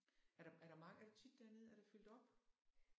Er der er der mange er du tit dernede? Er der fyldt op?